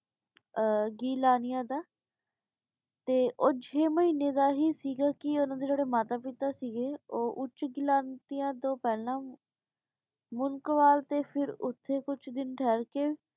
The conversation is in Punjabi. ਆ ਕੀ ਨਾਮ ਆਯ ਓਦਾ ਤੇ ਊ ਚੇ ਮਹੀਨੇ ਦਾ ਹੀ ਸੀਗਾ ਕੇ ਓਨਾ ਦੇ ਜੇਰੇ ਮਾਤਾ ਪਿਤਾ ਸੀਗੇ ਊ ਓਛ ਕਿਲਾ ਤੋਂ ਪੇਹ੍ਲਾਂ ਮੁਨ੍ਕਾਵਾਲ ਤੇ ਫੇਰ ਓਸ ਤੋਂ ਕੁਛ ਦਿਨ ਰਹ ਕੇ